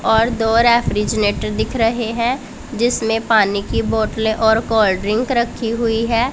और दो रेफ्रिजनेटर दिख रहें हैं जिसमें पानी की बॉटले और कोल्ड ड्रिंक रखी हुईं हैं।